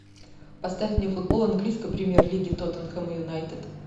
поставь мне футбол английской премьер лиги тоттенхэм и юнайтед